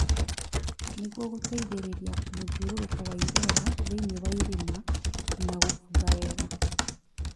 nĩguo gũteithĩrĩria mũthiũrũrũko wa rĩera thĩinĩ wa irima na gũbutha wega